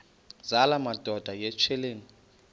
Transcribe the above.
zala madoda yityesheleni